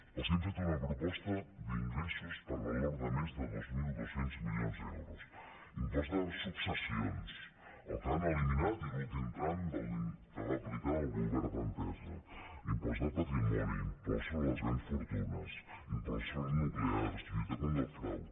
els hem fet una proposta d’ingressos per valor de més de dos mil dos cents milions d’euros impost de successions el que han eliminat i l’últim tram que va aplicar el govern d’entesa impost de patrimoni impost sobre les grans fortunes impost sobre nuclears lluita contra el frau